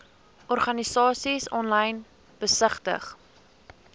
organisasies aanlyn besigtig